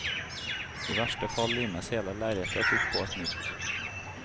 I verste fall limes hele lerretet opp på et nytt.